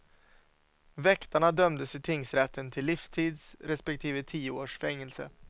Väktarna dömdes i tingsrätten till livstids respektive tio års fängelse.